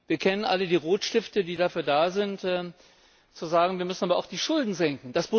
Wir kennen alle die Rotstifte, die dafür da sind zu sagen, wir müssen aber auch die Schulden senken.